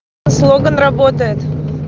слоган работает